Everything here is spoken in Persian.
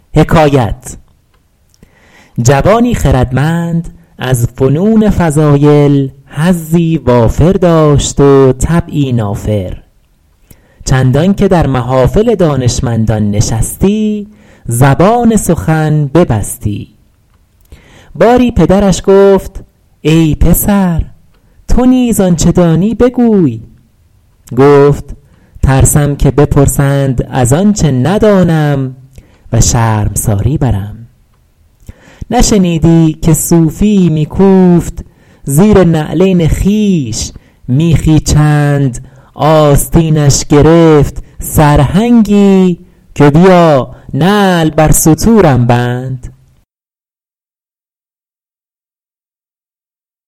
جوانی خردمند از فنون فضایل حظی وافر داشت و طبعی نافر چندان که در محافل دانشمندان نشستی زبان سخن ببستی باری پدرش گفت ای پسر تو نیز آنچه دانی بگوی گفت ترسم که بپرسند از آنچه ندانم و شرمساری برم نشنیدی که صوفی یی می کوفت زیر نعلین خویش میخی چند آستینش گرفت سرهنگی که بیا نعل بر ستورم بند